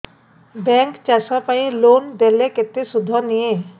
bank ଚାଷ ପାଇଁ loan ଦେଲେ କେତେ ସୁଧ ନିଏ